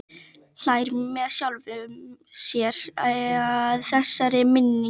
Hlær með sjálfum sér að þessari minningu.